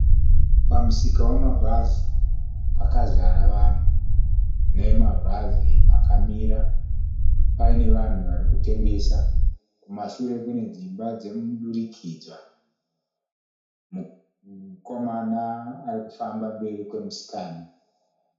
Pamusika wama bhazi pakazara vanhu nemabhazi akamira. Paine vanhu varikutengesa kumashure kune dzimba dzemudurikidzwa. Mukomana arikufamba mberi kwe musikana.